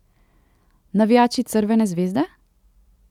Navijači Crvene zvezde?